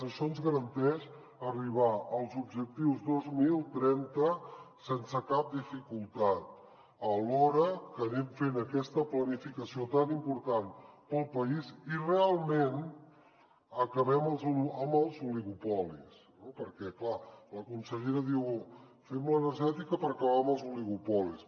això ens garanteix arribar als objectius dos mil trenta sense cap dificultat alhora que anem fent aquesta planificació tan important pel país i realment acabem amb els oligopolis no perquè clar la consellera diu fem l’energètica per acabar amb els oligopolis